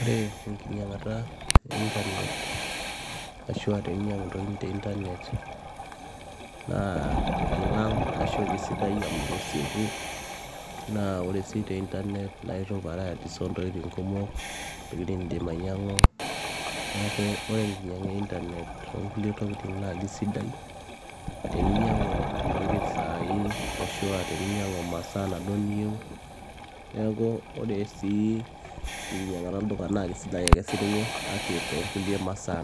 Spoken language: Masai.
Ore enkinyiang'ata e intanet ashuua teninyiangu intokitin te intanet naa kelang ashua kesieku naa naa ore sii te internet naa itum varieties oontokitin kumok intokitin nindiim ainyiang'u neeku ore enkinyiang'a e intanet toonkulie tokitin naa keisidai teninyiangu intokitin saai ashuua teninyiangu imasaa inaduo niyieu neeku ore sii enkinyiang'ata olduka naa keisidai ake siininye kake toonkulie masaa